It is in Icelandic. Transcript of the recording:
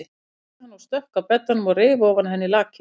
æpti hann og stökk að beddanum og reif ofan af henni lakið.